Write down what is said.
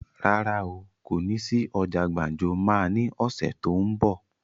Rárá o, kó ní sí ọjà gbàǹjo máa ní ọ̀sẹ̀ tó ún bọ̀.